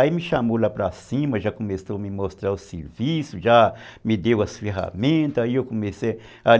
Aí me chamou lá para cima, já começou a me mostrar o serviço, já me deu as ferramentas, aí